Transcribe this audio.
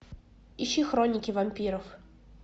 ищи хроники вампиров